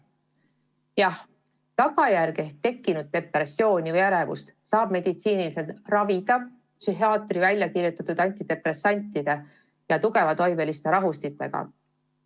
Jah, tagajärge ehk tekkinud depressiooni või ärevust saab meditsiiniliselt ravida psühhiaatri välja kirjutatud antidepressantide ja tugevatoimeliste rahustitega.